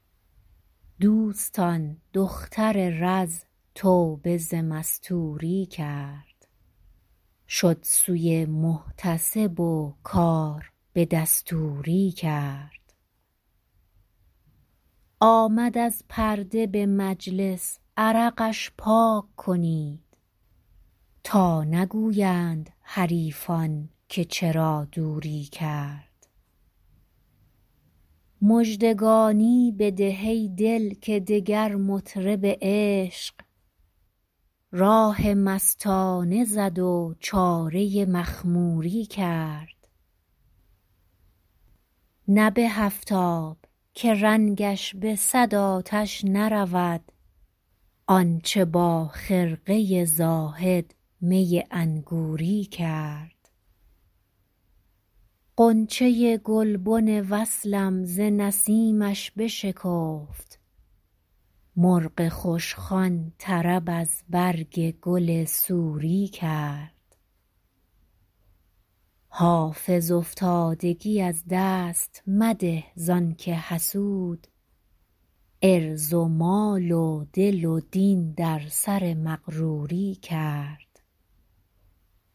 دوستان دختر رز توبه ز مستوری کرد شد سوی محتسب و کار به دستوری کرد آمد از پرده به مجلس عرقش پاک کنید تا نگویند حریفان که چرا دوری کرد مژدگانی بده ای دل که دگر مطرب عشق راه مستانه زد و چاره مخموری کرد نه به هفت آب که رنگش به صد آتش نرود آن چه با خرقه زاهد می انگوری کرد غنچه گلبن وصلم ز نسیمش بشکفت مرغ خوشخوان طرب از برگ گل سوری کرد حافظ افتادگی از دست مده زان که حسود عرض و مال و دل و دین در سر مغروری کرد